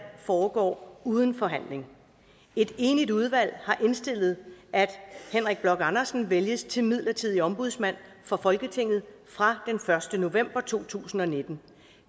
foregår uden forhandling et enigt udvalg har indstillet at henrik bloch andersen vælges til midlertidig ombudsmand for folketinget fra den første november to tusind og nitten